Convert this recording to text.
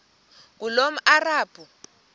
ngulomarabu